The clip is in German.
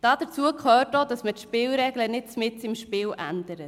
Dazu gehört auch, dass man die Spielregeln nicht mitten im Spiel ändert.